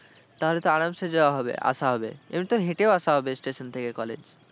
তাহলে তো আরামসে যাওয়া হবে, আসা হবে। এমনই তোর হেঁটেও আসা হবে station থেকে college.